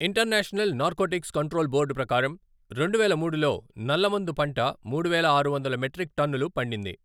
International narcotics control board ప్రకారం, రెండు వేల మూడులో నల్లమందు పంట మూడు వేల ఆరు వందలు మెట్రిక్ టన్నులు పండింది.